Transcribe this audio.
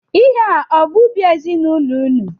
Ihe a ọ bụ ubi ezinaụlọ ụnụ?